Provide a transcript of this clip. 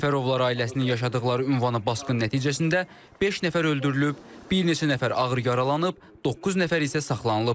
Səfərovlar ailəsinin yaşadıqları ünvana basqın nəticəsində beş nəfər öldürülüb, bir neçə nəfər ağır yaralanıb, doqquz nəfər isə saxlanılıb.